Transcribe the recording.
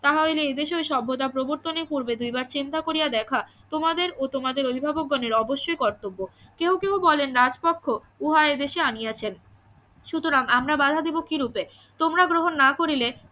তাহা হইলে এদেশে ওই সভ্যতা প্রবর্তনের পূর্বে দুইবার চিন্তা করিয়া দেখা তোমাদের ও তোমাদের অভিভাবক গণের অবশ্য কর্তব্য কেউ কেউ বলেন রাজকক্ষ উহা এদেশে আনিয়াছেন সুতরাং আমরা বাধা দিবো কি রূপে তোমরা গ্রহণ না করিলে